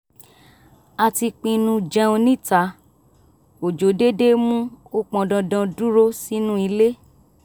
a ti pinnu jẹun níta òjò dédé mú ó pọndandan dúró sínú ilé